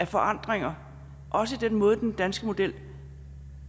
forandringer også i den måde den danske model